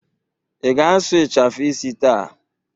Ị ga-asụ ịchafụ isi taa?